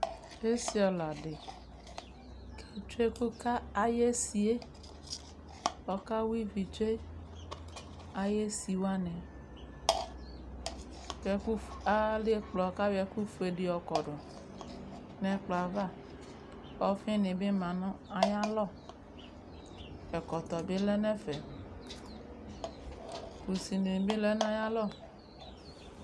Esiɔla de ke tsue ɛku ka aye esieƆka wa ivi tsue aye si wane, kɛ ku, alɛ ɛkplɔ ka yɔ ɛku fue de yɔ kɔ do no ɛkplɔ ava Ɔfi ne be ma no ayalɔ Ɛkɔtɔ be lɛ nɛfɛ Kusi ne be lɛ no aya lɔ